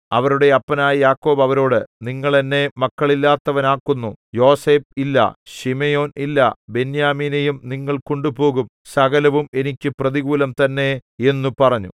അവരുടെ അപ്പനായ യാക്കോബ് അവരോട് നിങ്ങൾ എന്നെ മക്കളില്ലാത്തവനാക്കുന്നു യോസേഫ് ഇല്ല ശിമെയോൻ ഇല്ല ബെന്യാമീനെയും നിങ്ങൾ കൊണ്ടുപോകും സകലവും എനിക്ക് പ്രതികൂലം തന്നെ എന്നു പറഞ്ഞു